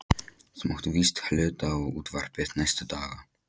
Þú mátt víst hluta á útvarpið næstu daga.